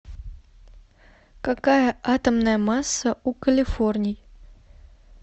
какая атомная масса у калифорний